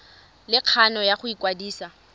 le kgano ya go ikwadisa